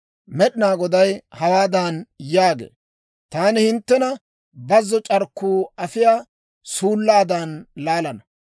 Med'inaa Goday hawaadan yaagee; «Taani hinttena bazzo c'arkkuu afiyaa suullaadan laalana.